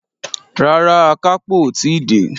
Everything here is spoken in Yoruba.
Rárá, àkápò o tí dé.